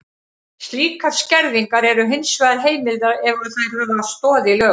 Slíkar skerðingar eru hins vegar heimilar ef þær hafa stoð í lögum.